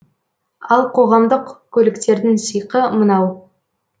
ал қоғамдық көліктердің сиқы мынау